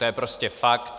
To je prostě fakt.